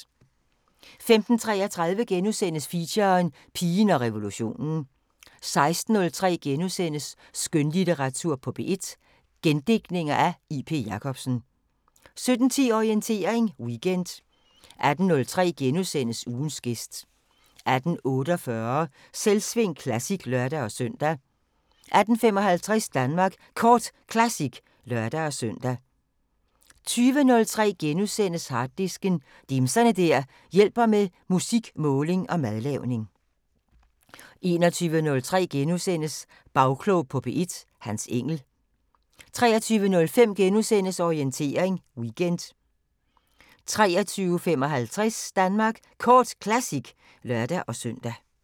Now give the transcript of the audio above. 15:33: Feature: Pigen og revolutionen * 16:03: Skønlitteratur på P1: Gendigtninger af J.P. Jacobsen * 17:10: Orientering Weekend 18:03: Ugens gæst * 18:48: Selvsving Classic (lør-søn) 18:55: Danmark Kort Classic (lør-søn) 20:03: Harddisken: Dimser der hjælper med musik, måling og madlavning * 21:03: Bagklog på P1: Hans Engell * 23:05: Orientering Weekend * 23:55: Danmark Kort Classic (lør-søn)